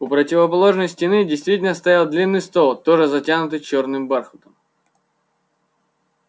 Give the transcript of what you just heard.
у противоположной стены действительно стоял длинный стол тоже затянутый чёрным бархатом